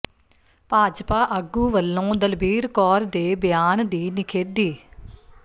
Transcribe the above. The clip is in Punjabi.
ਭਾਜਪਾ ਆਗੂ ਵੱਲੋਂ ਦਲਬੀਰ ਕੌਰ ਦੇ ਬਿਆਨ ਦੀ ਨਿਖੇਧੀ